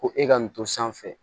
Ko e ka nin to sanfɛ